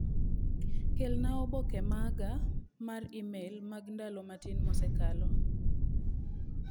Kelna oboke maga mar imel mag ndalo matin mosekalo.